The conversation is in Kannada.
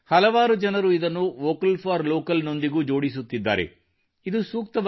ಹಲವಾರು ಜನರು ಇದನ್ನು ವೋಕಲ್ ಫಾರ್ ಲೋಕಲ್ ಸ್ಥಳೀಯತೆಗಾಗಿ ಧ್ವನಿ ಎತ್ತಿ ನೊಂದಿಗೂ ಜೋಡಿಸುತ್ತಿದ್ದಾರೆ